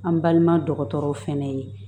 An balima dɔgɔtɔrɔw fɛnɛ ye